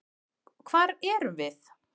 Hvar erum við?